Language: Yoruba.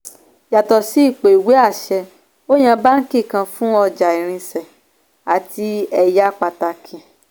yàtò sí ipò ìwé àṣẹ ó yan báàǹkì kan fún ọjà irinṣẹ́ àti ẹyà pàtàkì.